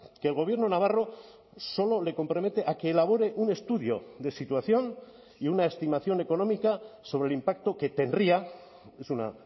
que el gobierno navarro solo le compromete a que elabore un estudio de situación y una estimación económica sobre el impacto que tendría es una